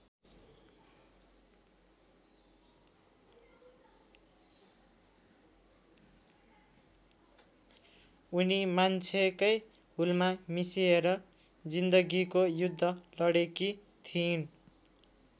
उनी मान्छेकै हुलमा मिसिएर जिन्दगीको युद्ध लडेकी थिइन्।